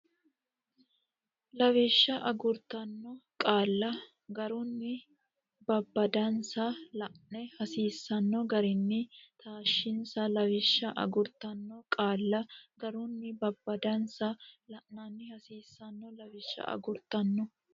Lawishsha agurtanno qaalla garunni babbadansa la anni hasiisanno garinni taashshinsa Lawishsha agurtanno qaalla garunni babbadansa la anni hasiisanno Lawishsha agurtanno.